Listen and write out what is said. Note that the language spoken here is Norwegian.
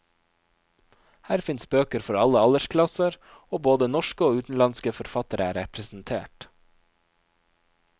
Her finnes bøker for alle aldersklasser, og både norske og utenlandske forfattere er representert.